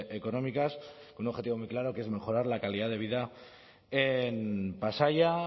económicas con un objetivo muy claro que es mejorar la calidad de vida en pasaia